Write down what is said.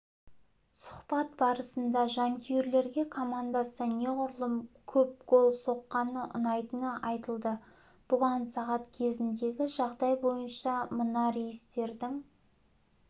сұхбат барысында жанкүйерлерге командасы неғұрлым көп гол соққаны ұнайтыны айтылды бүгін сағат кезіндегі жағдай бойынша мынарейстердің